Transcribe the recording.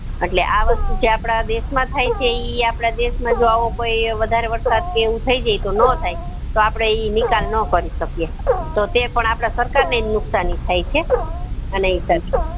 અટલે આ વસ્તુ જે આપડા દેશ માં થાય છે ઈ આપડે દેશ માં જો આવો કોઈ વધારે વરસાદ કે એવું થય જાય તો નો થાય તો ઈ આપડે નિકાલ નો કરી શકીએ તો તે પણ આપડે સરકાર ને નુકસાની થાય છે અને